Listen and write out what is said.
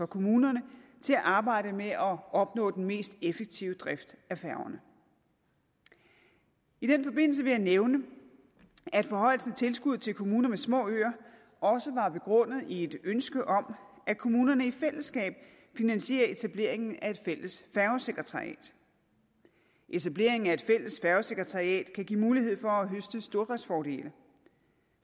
kommunerne til at arbejde med at opnå den mest effektive drift af færgerne i den forbindelse vil jeg nævne at forhøjelsen af tilskuddet til kommuner med små øer også var begrundet i et ønske om at kommunerne i fællesskab finansierer etableringen af et fælles færgesekretariat etableringen af et fælles færgesekretariat kan give mulighed for at høste stordriftsfordele